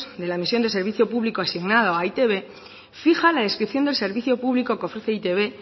de la misión de servicio público asignado a e i te be fija la descripción del servicio público que ofrece e i te be